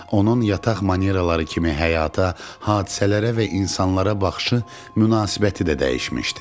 Onun yataq manieraları kimi həyata, hadisələrə və insanlara baxışı, münasibəti də dəyişmişdi.